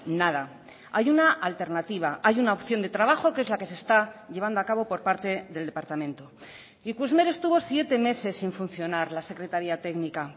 nada hay una alternativa hay una opción de trabajo que es la que se está llevando a cabo por parte del departamento ikusmer estuvo siete meses sin funcionar la secretaría técnica